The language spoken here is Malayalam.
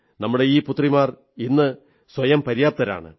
നമ്മുടെ ഈ പുത്രിമാർ ഇന്ന് സ്വയം പര്യാപ്തരാണ്